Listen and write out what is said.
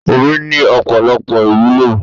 Omi ni Ọ̀pọ̀lọpọ̀ ìwúlò.